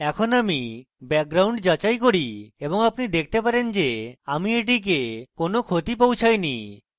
এখন আমি background যাচাই করি এবং আপনি দেখতে পারেন যে আমি এটিকে কোনো ক্ষতি পৌছাইনি